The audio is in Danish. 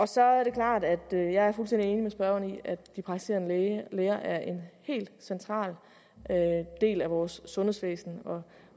så er det klart at jeg er fuldstændig enig med spørgeren i at de praktiserende læger er en helt central del af vores sundhedsvæsen